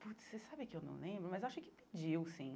Putz, você sabe que eu não lembro, mas eu acho que pediu, sim.